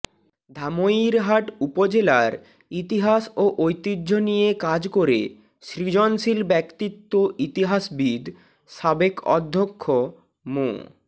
ধামইরহাট উপজেলার ইতিহাস ও ঐতিহ্য নিয়ে কাজ করে সৃজনশীল ব্যক্তিত্ব ইতিহাসবিদ সাবেক অধ্যক্ষ মো